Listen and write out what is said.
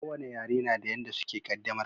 Ko wane yare na da yanda suke qaddamarwa